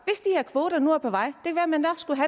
kvoter nu er på vej